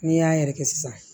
N'i y'a yɛrɛ kɛ sisan